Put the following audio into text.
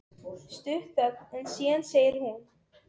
Stutt þögn en síðan segir hún